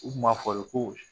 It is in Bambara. U tun b'a fɔ de ko